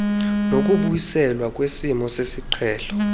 nokubuyiselwa kwesimo sesiqhelo